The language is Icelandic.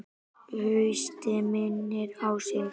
Haustið minnir á sig.